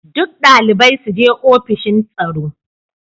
Duk dalibai su je ofishin tsaro.